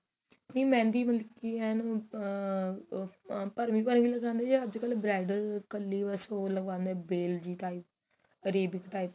ਨੀਂ mehendi ਮਤਲਬ ਕੀ ਏਨ ਆ ਭਰਵੀ ਭਰਵੀ ਲਗਾਂਦੇ ਓ ਜਾਂ ਅੱਜਕਲ bridal ਕਲੀ ਬੱਸ ਉਹ ਲਗਾਂਦੇ ਓ bale ਜੀ type Arabic type